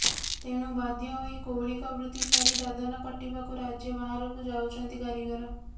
ତେଣୁ ବାଧ୍ୟ ହୋଇ କୌଳିକ ବୃତ୍ତି ଛାଡି ଦାଦନ ଖଟିବାକୁ ରାଜ୍ୟ ବାହାରକୁ ଯାଉଛନ୍ତି କାରୀଗର